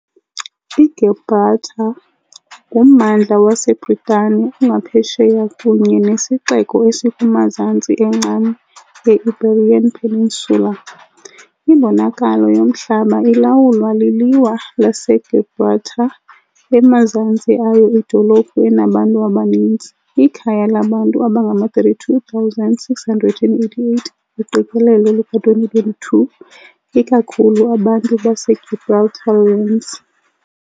IGibraltar nguMmandla waseBritane ongaphesheya kunye nesixeko esikumazantsi encam ye- Iberian Peninsula . Imbonakalo yomhlaba ilawulwa liLiwa laseGibraltar, emazantsi ayo idolophu enabantu abaninzi, ikhaya labantu abangama-32,688, uqikelelo luka-2022, ikakhulu abantu baseGibraltarians .